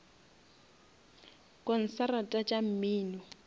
konsarata tša mmino